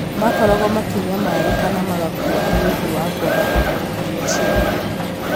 makoragwo makĩnyamarĩka na magakua nĩ ũndũ wa kwaga irio iria ciagĩrĩire